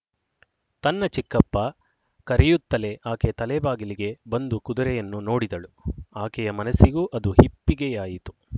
ತನ್ನ ಚಿಕ್ಕಪ್ಪ ಕರೆಯುತ್ತಲೇ ಆಕೆ ತಲೆಬಾಗಿಲಿಗೆ ಬಂದು ಕುದುರೆಯನ್ನು ನೋಡಿದಳು ಆಕೆಯ ಮನಸ್ಸಿಗೂ ಅದು ಹಿಪ್ಪಿಗೆಯಾಯಿತು